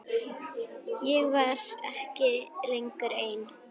Ég var ekki lengur ein.